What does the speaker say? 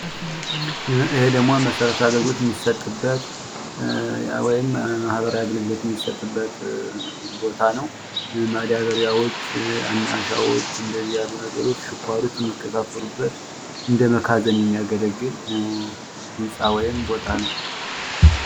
ይሄ ደግሞ መሰረታዊ አገልግሎት የሚሰጥበት ወይም ማህበራዊ አገልግሎት የሚሰጥበት ቦታ ነው። ማዳበሪያዎች፣ አሻቦዎች፣ ስኳሮች የሚከፍፈሉበት እንደ መጋዘን የሚያገለግል ህንፃ ወይም ቦታ ነው።